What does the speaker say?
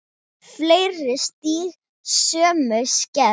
Fleiri stígi sömu skref?